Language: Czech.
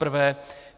Zaprvé.